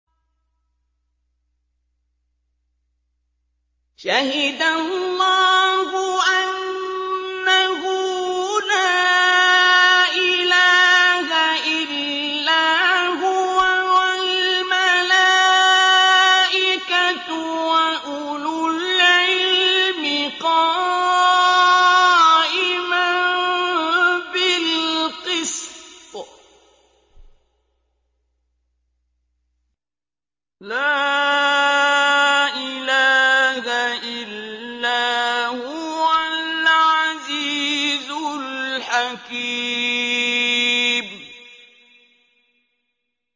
شَهِدَ اللَّهُ أَنَّهُ لَا إِلَٰهَ إِلَّا هُوَ وَالْمَلَائِكَةُ وَأُولُو الْعِلْمِ قَائِمًا بِالْقِسْطِ ۚ لَا إِلَٰهَ إِلَّا هُوَ الْعَزِيزُ الْحَكِيمُ